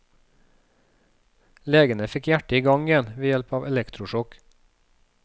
Legene fikk hjertet i gang igjen ved hjelp av elektrosjokk.